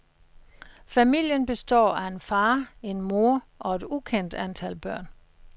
Familen består af en far, en mor og et ukendt antal børn.